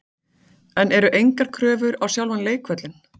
En eru engar kröfur á sjálfan leikvöllinn?